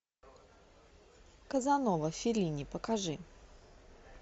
казанова феллини покажи